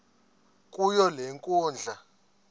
kuyo le nkundla